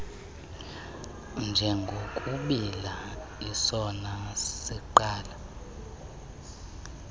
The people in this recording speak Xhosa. njengokubiila sisoma siqala